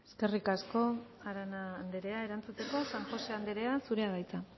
eskerrik asko arana anderea erantzuteko san josé anderea zurea da hitza